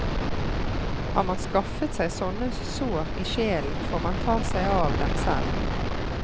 Har man skaffet seg sånne sår i sjelen, får man ta seg av dem selv.